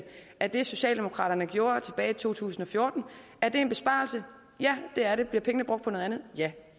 af det socialdemokraterne gjorde tilbage i to tusind og fjorten er det en besparelse ja det er det bliver pengene brugt på noget andet ja